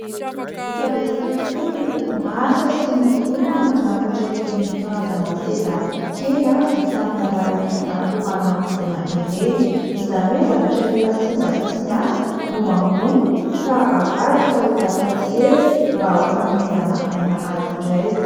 Efa betsaka tokoa ny orinasa sy ny olona manafatra ireny karazana seza kely vita amin'ny alalan'ny akora naodina ireny; izany hoe zavatra efa simba sy tsy miasa no angonina ka avadika ho lasa seza mba ho fanomezana aina azy indray.